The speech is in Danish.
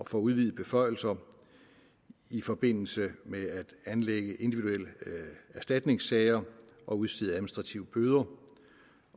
får udvidede beføjelser i forbindelse med at anlægge individuelle erstatningssager og udstede administrative bøder